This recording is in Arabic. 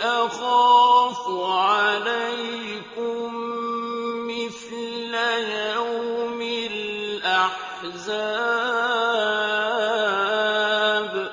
أَخَافُ عَلَيْكُم مِّثْلَ يَوْمِ الْأَحْزَابِ